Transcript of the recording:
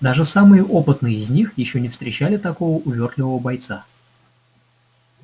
даже самые опытные из них ещё не встречали такого увёртливого бойца